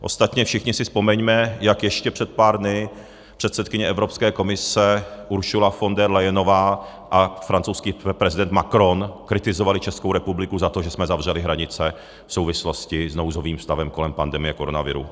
Ostatně všichni si vzpomeňme, jak ještě před pár dny předsedkyně Evropské komise Ursula von der Leyenová a francouzský prezident Macron kritizovali Českou republiku za to, že jsme zavřeli hranice v souvislosti s nouzovým stavem kolem pandemie koronaviru.